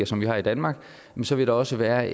som vi har i danmark så vil det også være